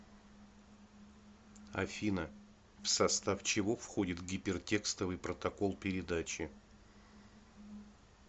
афина в состав чего входит гипертекстовый протокол передачи